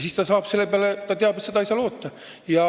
Siis ta teab, et ei saa seda abi loota.